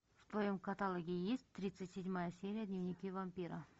в твоем каталоге есть тридцать седьмая серия дневники вампира